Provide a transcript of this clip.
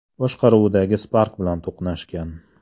boshqaruvidagi Spark bilan to‘qnashgan.